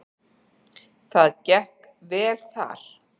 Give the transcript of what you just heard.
Það gekk vel þar.